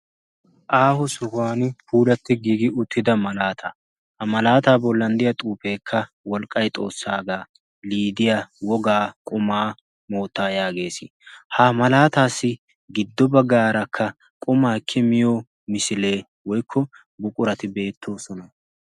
aaho sohuwan puulatti giigi uttida malaata ha malaataa bollan de7iya xuufeekka wolqqai xoossaagaa lidiya wogaa qumaa moottaa' yaagees ha malaataassi giddo baggaarakka qumaa ekki miyo misilee woikko buqurati beettoosona